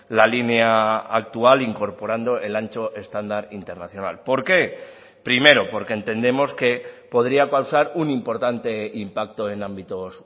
la línea actual incorporando el ancho estándar internacional por qué primero porque entendemos que podría causar un importante impacto en ámbitos